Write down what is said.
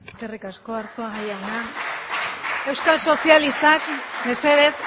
eskerrik asko arzuaga jauna euskal sozialistak mesedez